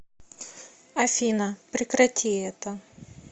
афина прекрати это